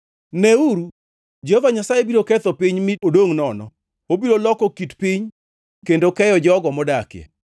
Neuru Jehova Nyasaye biro ketho piny, mi odongʼ nono, obiro loko kit piny kendo keyo jogo modakie.